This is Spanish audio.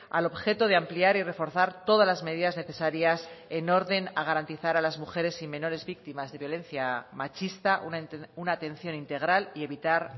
al objeto de ampliar y reforzar todas las medidas necesarias en orden a garantizar a las mujeres y menores víctimas de violencia machista una atención integral y evitar